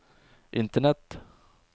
internett